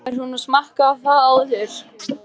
Maður hefur nú smakkað það áður.